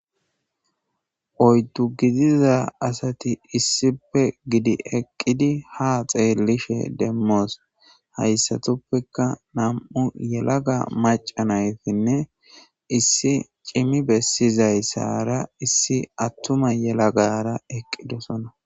Oydu gidiza asati issippe gidi eqid ha aimmo xelishe demos, haysatappeka nam'u yelagaaca naytinne issi cimi besizaysara issi yelaga atumara eqidosona